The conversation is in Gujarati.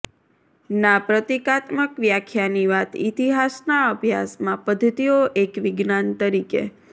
ના પ્રતીકાત્મક વ્યાખ્યાની વાત ઇતિહાસના અભ્યાસમાં પદ્ધતિઓ એક વિજ્ઞાન તરીકે